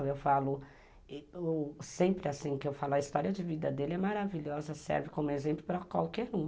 Eu falo, sempre assim que eu falo, a história de vida dele é maravilhosa, serve como exemplo para qualquer um.